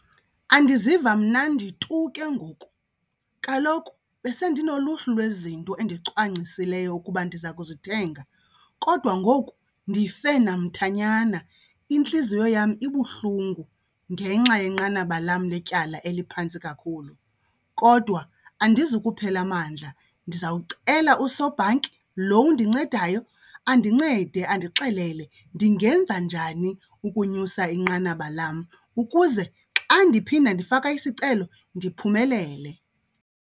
Andiziva mnandi tu ke ngoku. Kaloku besendinoluhlu lwezinto endicwangcisileyo ukuba ndiza kuzithenga kodwa ngoku ndife namthanyana, intliziyo yam ibuhlungu ngenxa yenqanaba lam letyala eliphantsi kakhulu. Kodwa andizukuphela mandla ndizawucela usobhanki lo undincedayo andincede andixelele ndingenza njani ukunyusa inqanaba lam ukuze xa ndiphinda ndifaka isicelo ndiphumelele.